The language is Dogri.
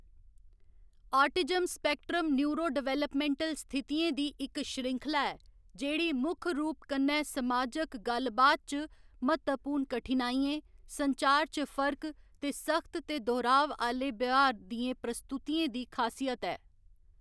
आटिज्म स्पेक्ट्रम न्यूरोडेवलपमेंटल स्थितियें दी इक श्रृंखला ऐ जेह्‌‌ड़ी मुक्ख रूप कन्नै समाजक गल्ल बात च म्हत्तवपूर्ण कठिनाइयें, संचार च फर्क ते सख्त ते दोहराव आह्‌‌‌ले ब्यहार दियें प्रस्तुतियें दी खासियत ऐ।